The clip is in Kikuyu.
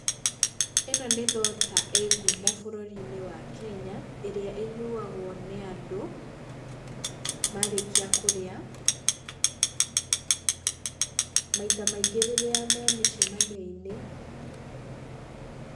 ĩno nĩ thota ĩ ngumo bũrũri-inĩ wa Kenya, ĩrĩa ĩnyuagwo nĩ andũ marĩkia kũrĩa, maita maingĩ rĩrĩa memĩcamanio-inĩ.